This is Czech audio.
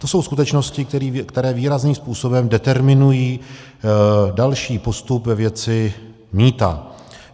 To jsou skutečnosti, které výrazným způsobem determinují další postup ve věci mýta.